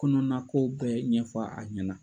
Kɔnɔna ko bɛɛ ɲɛfɔ a ɲɛna.